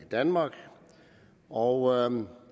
i danmark og